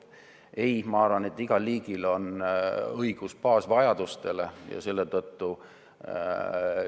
Ei, ma arvan, et igal liigil on õigus baasvajadusi rahuldada.